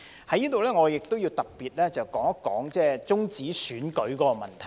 在這裏，我亦要特別說說終止選舉的問題。